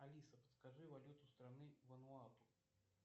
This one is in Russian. алиса подскажи валюту страны вануату